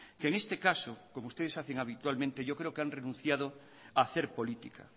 que en este caso como ustedes hacen habitualmente yo creo que han renunciado a hacer política